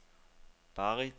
Barrit